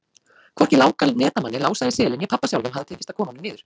Hvorki Láka netamanni, Lása í Seli né pabba sjálfum hafði tekist að koma honum niður.